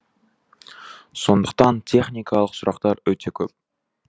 сондықтан техникалық сұрақтар өте көп